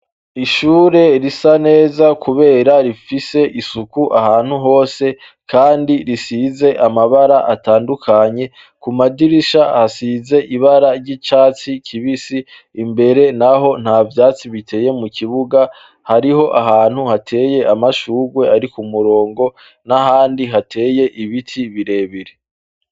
Ishure risa neza, kubera rifise isuku ahantu hose, kandi risize amabara atandukanye ku madirisha hasize ibara ry'icatsi kibisi imbere, naho nta vyatsi biteye mu kibuga hariho ahantu hateye amashurwe ari ku murongo na nahandi hateye ibiti birebire.